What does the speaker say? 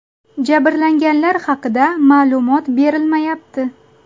Jabrlanganlar haqida ma’lumot berilmayapti.